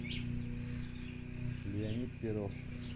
леонид перов